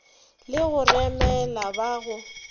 le go remela ba go